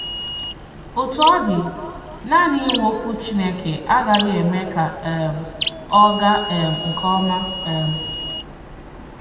Òtù ọ dị, nanị ìnwè Òkwù Chìnékè agaghị̀ èmé ka um ọ gàà um nke òma. um